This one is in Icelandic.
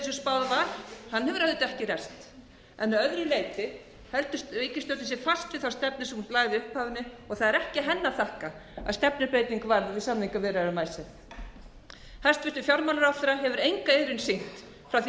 var hefur auðvitað ekki ræst að öðru leyti heldur ríkisstjórnin sig fast við þá stefnu sem hún lagði í upphafi með það er ekki henni að þakka að stefnubreyting varð við samningaviðræðum um icesave hæstvirtur fjármálaráðherra hefur enga iðrun sýnt frá því